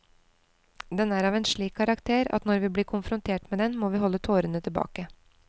Den er av en slik karakter at når vi blir konfrontert med den, må vi holde tårene tilbake.